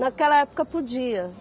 Naquela época podia.